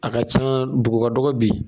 A ka can dugu ka dɔgɔn bi.